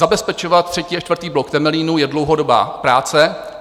Zabezpečovat třetí a čtvrtý blok Temelína je dlouhodobá práce.